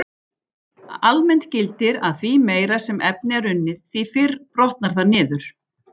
Almennt gildir að því meira sem efni er unnið, því fyrr brotnar það niður.